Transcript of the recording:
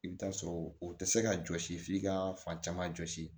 I bɛ taa sɔrɔ o tɛ se ka jɔsi f'i ka fan caman jɔsi